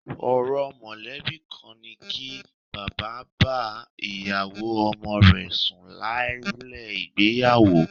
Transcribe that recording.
Orò mọ̀lẹ́bí kan ni kí bàbá bá ìyàwó ọmọ rẹ sùn lálẹ́ ìgbéyàwó